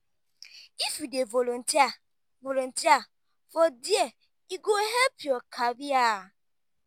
if you dey volunteer volunteer for there e go help your career.